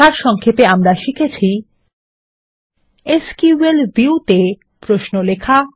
সারসংক্ষেপে আমরা শিখেছি কিভাবে এসকিউএল ভিউ তে প্রশ্ন লেখা